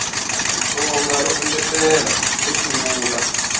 xitsonga ro engetela ro sungula